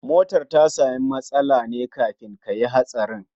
Motar ta samu matsala ne kafin kayi hatsarin?